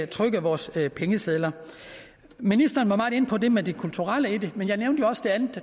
trykke vores pengesedler ministeren var meget inde på det med det kulturelle i det men jeg nævnte jo også det andet